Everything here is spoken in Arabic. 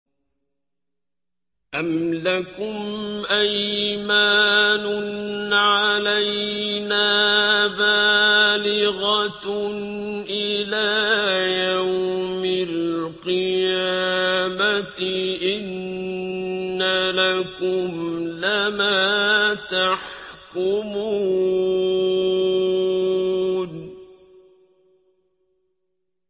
أَمْ لَكُمْ أَيْمَانٌ عَلَيْنَا بَالِغَةٌ إِلَىٰ يَوْمِ الْقِيَامَةِ ۙ إِنَّ لَكُمْ لَمَا تَحْكُمُونَ